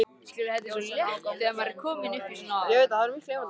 Ljósin á ganginum fóru í augun á honum.